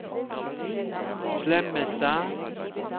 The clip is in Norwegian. Slemmestad